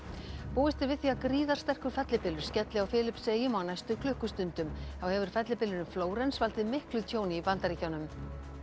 búist er við því að fellibylur skelli á Filippseyjum á næstu klukkustundum þá hefur fellibylurinn Flórens valdið miklu tjóni í Bandaríkjunum